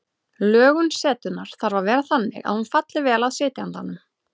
Lögun setunnar þarf að vera þannig að hún falli vel að sitjandanum.